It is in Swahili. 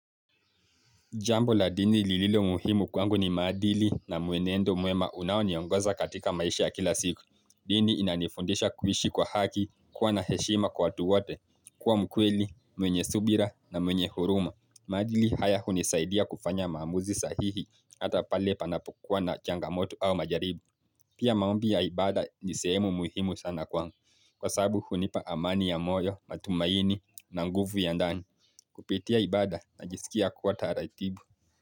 Jambo la dini lililo muhimu kwangu ni maadili na mwenendo mwema unaoniongoza katika maisha ya kila siku. Dini inanifundisha kuishi kwa haki, kuwa na heshima kwa watu wote, kuwa mkweli, mwenye subira na mwenye huruma. Maadili haya hunisaidia kufanya maamuzi sahihi hata pale panapokua na changamoto au majaribu. Pia maombi ya ibada ni sehemu muhimu sana kwangu. Kwa sababu hunipa amani ya moyo, matumaini na nguvu ya ndani. Kupitia ibada najisikia kuwa taratibu.